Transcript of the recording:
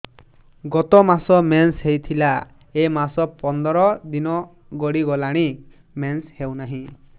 ଗତ ମାସ ମେନ୍ସ ହେଇଥିଲା ଏ ମାସ ପନ୍ଦର ଦିନ ଗଡିଗଲାଣି ମେନ୍ସ ହେଉନାହିଁ